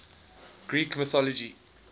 greek mythology